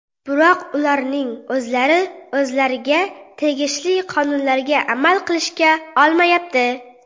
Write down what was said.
Biroq ularning o‘zlari o‘zlariga tegishli qonunlarga amal qilisha olmayapti.